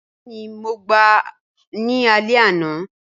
Bẹẹni mo gba alẹ ana